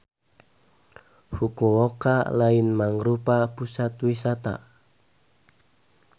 Fukuoka lain mangrupa pusat wisata.